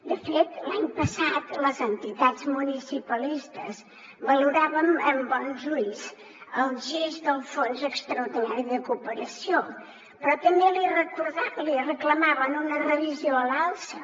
de fet l’any passat les entitats municipalistes valoràvem amb bons ulls el gest del fons extraordinari de cooperació però també li reclamaven una revisió a l’alça